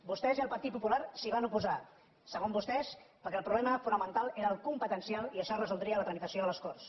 vostès i el partit popular s’hi van oposar segons vostès perquè el problema fo·namental era el competencial i això es resoldria a la tramitació a les corts